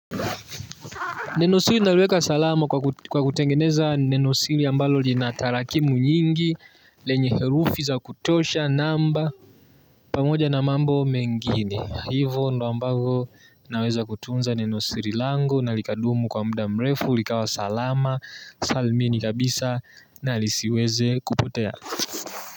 Neno sili naliweka salama kwa kutengeneza neno sili ambalo lina tarakimu nyingi lenye herufi za kutosha namba pamoja na mambo mengine. Hivo ndo ambavo naweza kutunza neno siri lango na likadumu kwa mda mrefu likawa salama salmini kabisa na lisiweze kupotea.